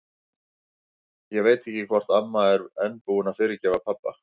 Ég veit ekki hvort amma er enn búin að fyrirgefa pabba.